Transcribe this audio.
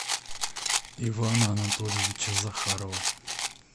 ивана анатольевича захарова